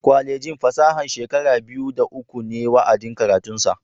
Kwalejin fasaha shekara biyu da uku ne wa'adin karatunsu.